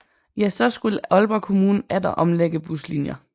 Ja så skulle Aalborg kommune atter omlægge buslinjer